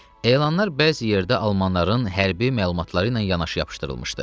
Elanlar bəzi yerdə Almanların hərbi məlumatları ilə yanaşı yapışdırılmışdı.